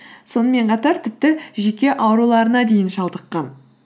сонымен қатар тіпті жүйке ауруларына дейін шалдыққан